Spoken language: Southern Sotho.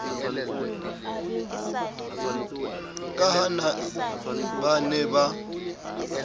ka ha ba ne ba